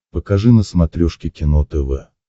покажи на смотрешке кино тв